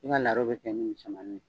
N ka laro bɛ kɛ ni misɛmannin ye..